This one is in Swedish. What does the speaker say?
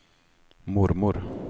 mormor